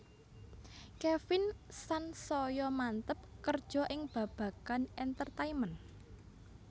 Kevin san saya manteb kerja ing babagan entertainment